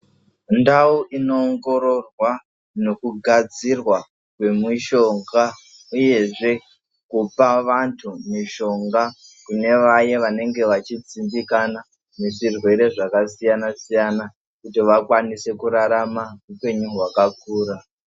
Ndau inoongororwa nekugadzirwa kwemishonga, uyezve kupa vantu mishonga kune vaye vanenge vachidzimbikana nezvirwere zvakasiyana-siyana. Kuti vakwanise kurarama hupenyu hwakakura.